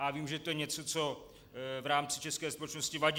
A vím, že to je něco, co v rámci české společnosti vadí.